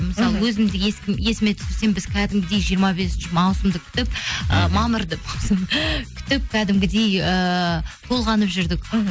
мысалы өзімді есіме түсірсем біз кәдімгідей жиырма бесінші маусымды күтіп ыыы мамырды маусым күтіп кәдімгідей ыыы толғанып жүрдік мхм